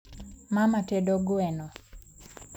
Mama tedo gweno